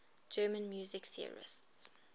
german music theorists